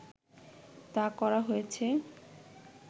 তা করা হয়েছে